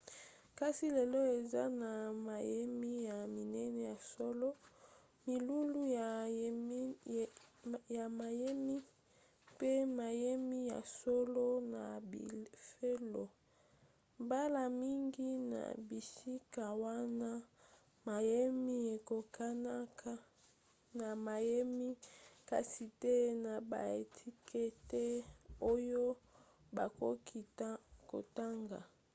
kasi lelo eza na mayemi ya minene ya solo milulu ya mayemi mpe mayemi ya solo na bifelo. mbala mingi na bisika wana mayemi ekokanaka na mayemi kasi te na baetikete oyo bakoki kotanga